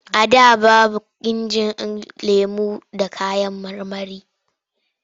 A da babu injin yin lemo da kayan marmari.